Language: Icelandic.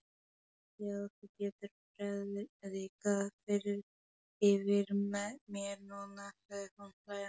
Já, þú getur prédikað yfir mér núna, sagði hún hlæjandi.